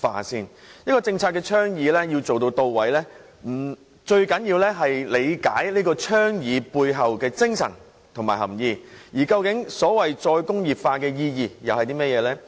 一個政策倡議要能做到位，最重要是理解倡議背後的精神及含意，而所謂"再工業化"的意義究竟是甚麼呢？